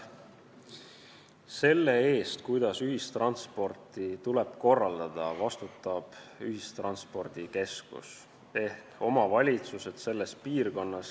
Selle eest, kuidas ühistransporti tuleb korraldada, vastutab ühistranspordikeskus ehk omavalitsused selles piirkonnas.